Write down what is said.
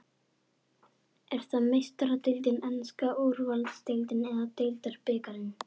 Er það Meistaradeildin, enska úrvalsdeildin eða deildarbikarinn?